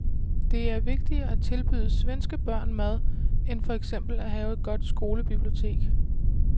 Det er vigtigere at tilbyde svenske børn mad end for eksempel at have et godt skolebibliotek.